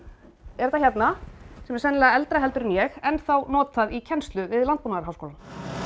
er þetta hérna sem er sennilega eldra heldur en ég enn notað í kennslu hér við Landbúnaðarháskólann